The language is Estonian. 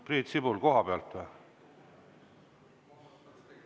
Priit Sibul, koha pealt või?